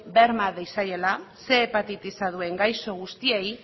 berma diezaiela ehun hepatitisa duen gaixo guztiei